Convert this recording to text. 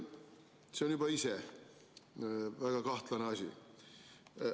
" See on juba ise väga kahtlane asi.